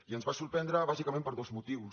i ens van sorprendre bàsicament per dos motius